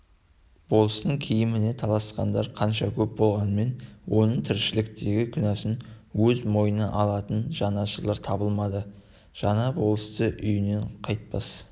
болыстың киіміне таласқандар қанша көп болғанымен оның тіршіліктегі күнәсін өз мойнына алатын жанашырлар табылмады жаңа болысты үйінен қайтпас